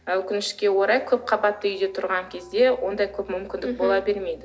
өкінішке орай көпқабатты үйде тұрған кезде ондай көп мүмкіндік бола бермейді